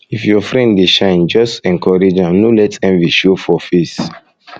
if your friend dey shine just encourage am no let envy show for face face